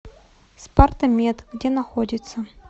спартамед где находится